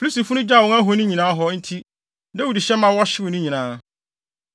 Filistifo no gyaw wɔn ahoni nyinaa hɔ nti, Dawid hyɛ ma wɔhyew ne nyinaa.